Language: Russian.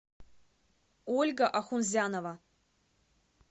ольга ахунзянова